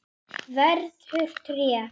Verður tré.